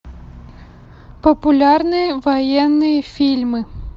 популярные военные фильмы